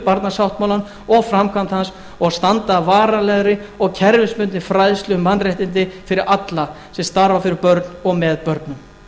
barnasáttmálann og framkvæmd hans og standa að varanlegri og kerfisbundinni fræðslu um mannréttindi fyrir alla sem starfa fyrir börn og með börnum